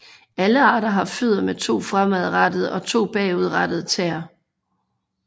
Alle arter har fødder med to fremadrettede og to bagudrettede tæer